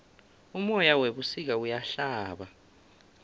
umoya webusika uyahlaba